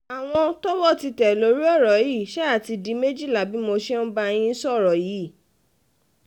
àwọn tọ́wọ́ ti tẹ̀ lórí um ọ̀rọ̀ yìí ṣáà ti di méjìlá bí mo ṣe um ń bá yín sọ̀rọ̀ yìí